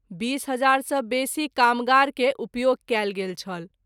२० हज़ार सँ बेशी कामगार के उपयोग कएल गेल छल।